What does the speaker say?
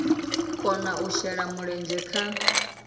kona u shela mulenzhe kha